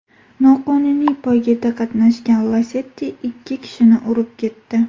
Noqonuniy poygada qatnashgan Lacetti ikki kishini urib ketdi.